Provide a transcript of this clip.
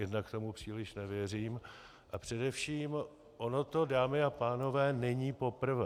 Jednak tomu příliš nevěřím - a především, ono to, dámy a pánové, není poprvé.